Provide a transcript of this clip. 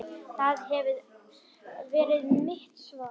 Það hefði verið mitt svar.